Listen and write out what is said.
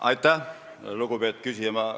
Aitäh, lugupeetud küsija!